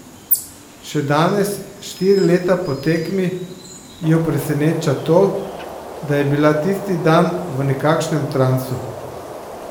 Še danes, štiri leta po tekmi, jo preseneča to, da je bila tisti dan v nekakšnem transu.